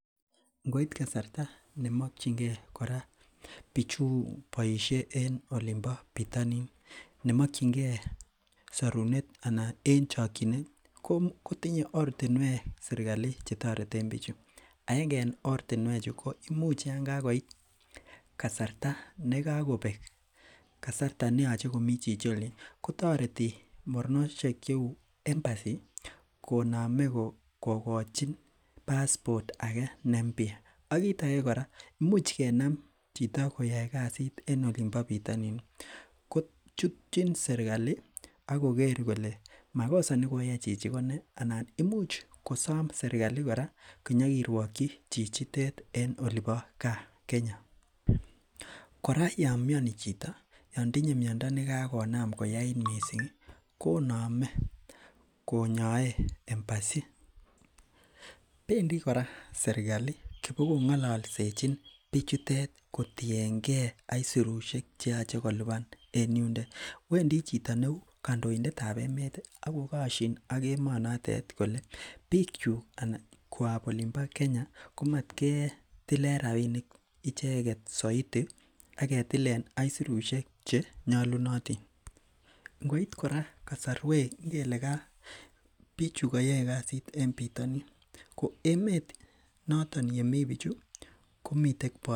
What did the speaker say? Ngoit kasarta nemokyingei bichun boisie en bitonin toretet en chokyinet kotinye ortinwek sirkali chetoreten bichuton, netai yon kakobek kasarta neyolu komi bichundo olin kotoreti moronosiek cheu embassy konome kokochin passport ake nempya kora yon kokinam chito koyoe kasit en olinbo bitoni koimuch kochutyi serkali akoker kole makosa nekoyai chichi konee ana imuch kosom serkali kora konyokirwokyi chichitet en Kenya, kora yon myoni chito knyoe embassy ,bendi kora serkali bo kong'ololsechi bichutet kotiengei aisurusiek cheyoche kolipan en yundet, wendi chitoi neu kandoindet ab emet akokosyin ak biik emet noton kole bikyuk chebo Kenya komatketilen rapinik chechang' soiti aketilen aisurusyek chenyolunotin.